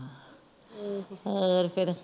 ਹੋਰ ਫੇਰ